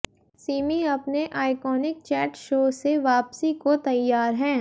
सिमी अपने iconic chat show से वापसी को तैयार हैं